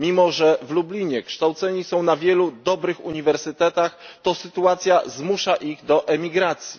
Mimo że w Lublinie kształceni są na wielu dobrych uniwersytetach, to sytuacja zmusza ich do emigracji.